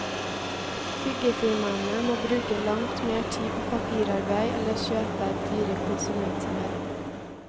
Byggefirmaene må bruke langt mer tid på papirarbeid eller kjøpe dyre konsulenttimer.